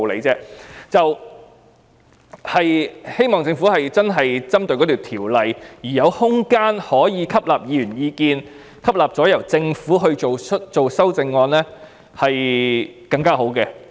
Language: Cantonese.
我希望政府真的是針對法案，並有空間可吸納議員意見，最後由政府提出修正案，這樣做效果會更好。